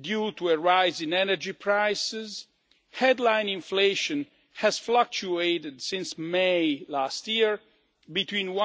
due to a rise in energy prices, headline inflation has fluctuated since May last year between